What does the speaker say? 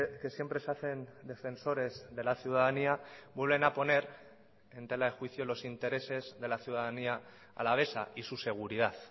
que siempre se hacen defensores de la ciudadanía vuelven a poner en tela de juicio los intereses de la ciudadanía alavesa y su seguridad